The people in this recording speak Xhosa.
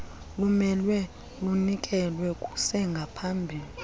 lumele lunikelwe kusengaphambili